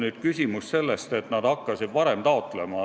On tõsi, et nad hakkasid seda erisust varem taotlema.